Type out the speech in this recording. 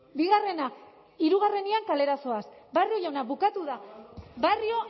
bigarrena hirugarrenean kalera zoaz barrio jauna bukatu da barrio